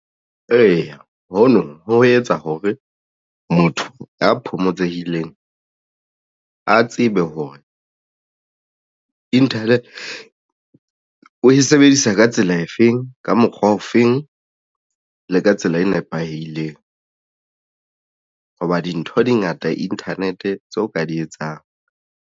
Eya, hono ho etsa hore motho ya phomotsehileng a tsebe hore internet o e sebedisa ka tsela efeng ka mokgwa o feng le ka tsela e nepaheileng hoba dintho di ngata internet tseo ka di etsang.